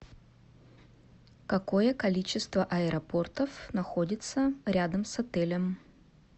какое количество аэропортов находится рядом с отелем